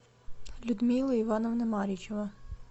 людмила ивановна маричева